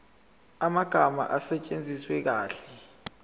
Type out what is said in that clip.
amagama asetshenziswe kahle